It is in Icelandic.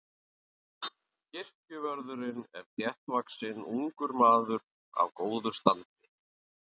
Kirkjuvörðurinn er þéttvaxinn ungur maður af góðu standi.